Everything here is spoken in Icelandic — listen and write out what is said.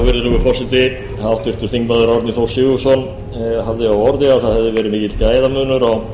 virðulegur forseti háttvirtur þingmaður árni þór sigurðsson hafði á orði að það hefði verið mikill gæðamunur á